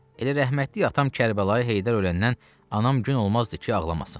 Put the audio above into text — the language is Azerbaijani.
Elə rəhmətlik atam Kərbəlayı Heydər öləndən anam gün olmazdı ki, ağlamasın.